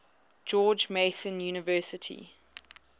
george mason university